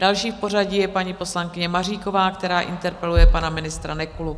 Další v pořadí je paní poslankyně Maříková, která interpeluje pana ministra Nekulu.